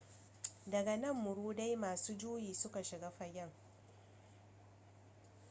daga nan muridai masu juyi suka shiga fagen